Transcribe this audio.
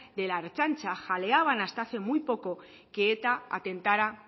de la ertzaintza jaleaban hasta hace muy poco que eta atentará